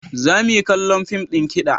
Za mu yi kallon fim ɗin kiɗa.